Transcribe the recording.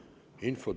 Infotund on lõppenud.